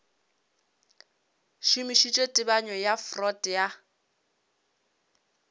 šomišitše tebanyo ya freud ya